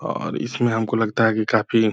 और इसमें हमको लगता है की काफी --